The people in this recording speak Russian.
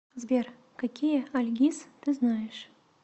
сбер какие альгиз ты знаешь